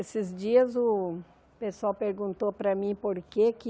Esses dias o pessoal perguntou para mim por que que